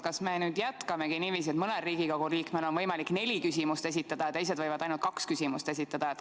Kas me nüüd jätkamegi niiviisi, et mõnel Riigikogu liikmel on võimalik neli küsimust esitada ja teised võivad ainult kaks küsimust esitada?